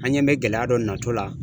An ɲɛ bɛ gɛlɛya dɔ natɔ la.